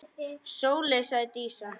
Sóley, sagði Dísa.